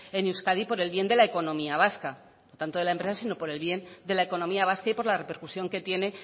en euskadi por el bien de la economía vasca no tanto no de la empresa sino de la economía vasca y por la repercusión que tiene